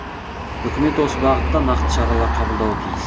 үкімет осы бағытта нақты шаралар қабылдауы тиіс